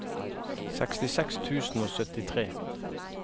sekstiseks tusen og syttitre